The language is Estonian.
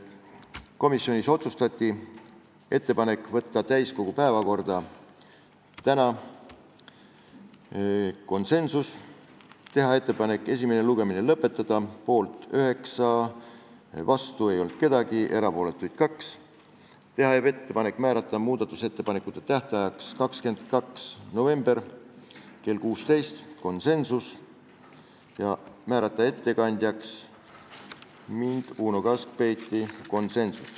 Komisjonis tehti ettepanek saata eelnõu täiskogu päevakorda tänaseks , teha ettepanek esimene lugemine lõpetada , teha ettepanek määrata muudatusettepanekute esitamise tähtajaks 22. november kell 16 ja määrata ettekandjaks mina ehk Uno Kaskpeit .